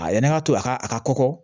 A yɛlɛn ka to a ka a ka kɔkɔ